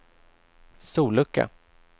sollucka